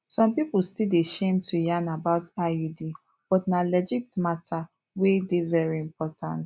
some people still dey shame to yarn about iud but na legit matter wey dey very important